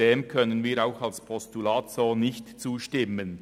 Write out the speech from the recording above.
Dem können wir in dieser Form auch als Postulat nicht zustimmen.